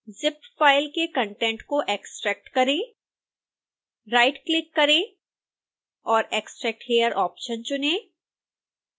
zip file के content को extract करें राइटक्लिक करें और extract here ऑप्शन चुनें